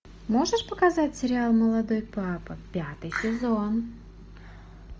можешь показать сериал молодой папа пятый сезон